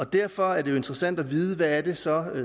derfor er det interessant at vide hvad det så er